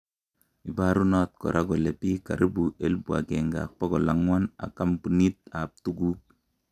Iparunot kora kole piik karibu 1400 ak kampunit ap tukuk.